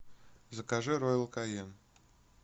закажи роял канин